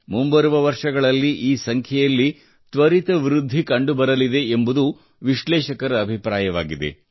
ಮುಂಬರುವ ವರ್ಷಗಳಲ್ಲಿ ಈ ಸಂಖ್ಯೆಯಲ್ಲಿ ತ್ವರಿತ ವೃದ್ಧಿ ಕಂಡುಬರಲಿದೆ ಎಂಬುದು ವಿಶ್ಲೇಷಕರ ಅಭಿಪ್ರಾಯವಾಗಿದೆ